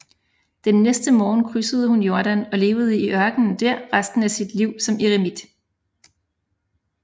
Den næste morgen krydsede hun Jordan og levede i ørkenen der resten af sit liv som en eremit